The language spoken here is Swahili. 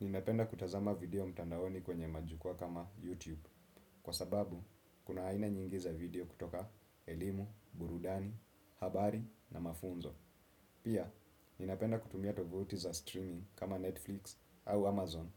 Ninapenda kutazama video mtandaoni kwenye majukua kama YouTube. Kwa sababu, kuna aina nyingi za video kutoka elimu, burudani, habari na mafunzo. Pia, ninapenda kutumia tovotiza streaming kama Netflix au Amazon